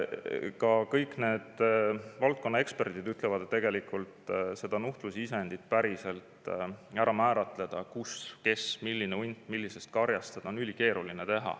Ka kõik valdkonna eksperdid ütlevad, et tegelikult seda nuhtlusisendit päriselt ära määratleda, kus, kes, milline hunt millisest karjast, on ülikeeruline.